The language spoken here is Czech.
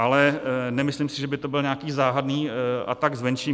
Ale nemyslím si, že by to byl nějaký záhadný atak zvenčí.